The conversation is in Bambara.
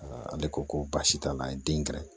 ale ko ko baasi t'a la a ye den kɛ